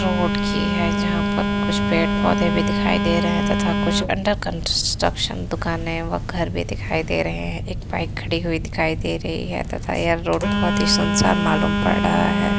Road की है जहाँ पर कुछ पेड़ पौधे भी दिखाई दे रहे है तथा कुछ अंडर कंस्ट्रक्शन दुकाने व घर भी दिखाई दे रहे हैं। एक बाइक खड़ी हुई दिखाई दे रही है तथा ये रोड बोहोत सुनसान मालूम पड़ रहा है।